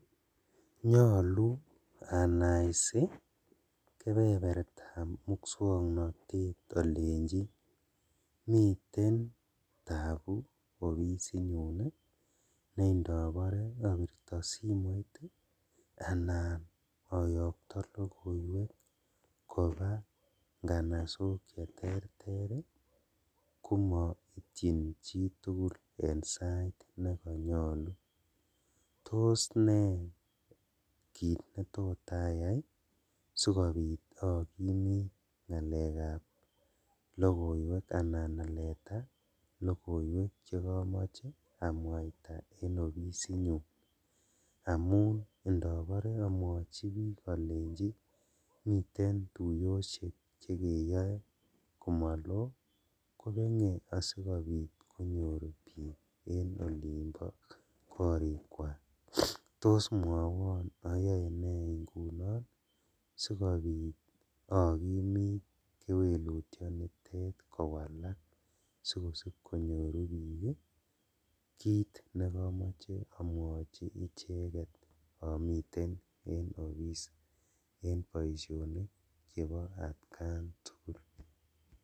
Nyolu anaisi kebebertab muswoknotet olenjin miten tabu ne indobore obirto simoit ii anan oyokto logoiwek koba inganasok cheterter ii komoityin chitugul en sait nenyolu, tos ne kit netot ayai sikobit okimit ngalekab logoiwek anan aleta logoiwek chekomoche amwaita en ofisinyun? amun indobore omeochi bik olenjin miren tuyoshek chekeyoe komolo kobenge asikonyor bik en olimbo korikwak, tos mwowon oyoe nee ingunon sikobit okimit kewelutionitet kowalak sikosib konyoru bik kit nekomoche omwochi icheket omiten en office en boisionik chebo atkan tugul.